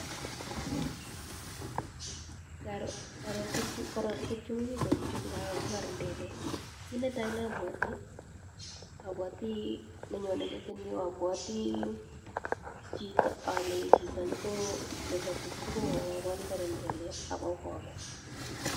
Ngaro tukchu che mi pichait yu ngaro ko karindelek , ki netai nabwati nenyon meti nyu apwati chito nepa tukuchu kokakol karindelek akokokes.